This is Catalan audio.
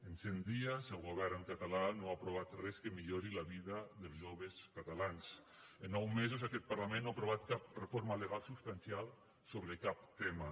en cent dies el govern català no ha aprovat res que millori la vida dels joves catalans en nou mesos aquest parlament no ha aprovat cap reforma legal substancial sobre cap tema